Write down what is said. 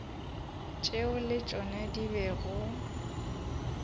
tšeo le tšona di bego